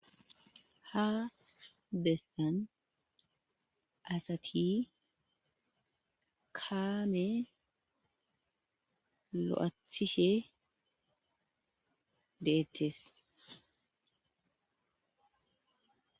Ha bessan asati kaame lo'aththishe dettes